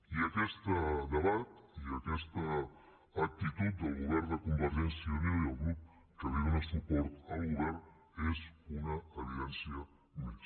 i aquesta actitud del govern de convergència i unió i el grup que li dóna suport n’és una evidència més